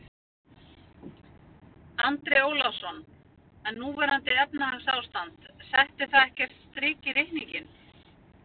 Andri Ólafsson: En núverandi efnahagsástand, setti það ekkert strik í reikninginn?